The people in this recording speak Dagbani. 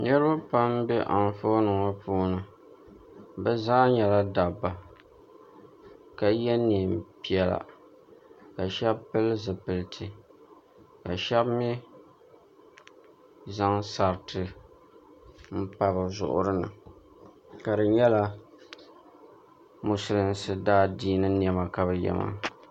Niriba pam m-be anfooni ŋɔ puuni bɛ zaa nyɛla dabba ka ye neempiɛla ka shɛba pili zipiliti ka shɛba mi zaŋ sariti m-pa bɛ zuɣuri ni ka di nyɛla musulinsi daadiini nɛma ka bɛ ye maa